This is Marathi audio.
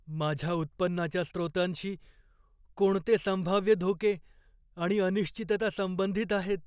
माझ्या उत्पन्नाच्या स्रोतांशी कोणते संभाव्य धोके आणि अनिश्चितता संबंधित आहेत?